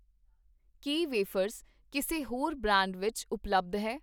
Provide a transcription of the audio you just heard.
ਕੀ wafers ਕਿਸੇ ਹੋਰ brand ਵਿੱਚ ਉਪਲੱਬਧ ਹੈ?